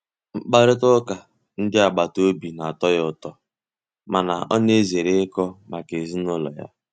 Mkparịta ụka ndị agbata obi na-atọ ya ụtọ mana ọ na-ezere ikọ maka ezinụlọ ya.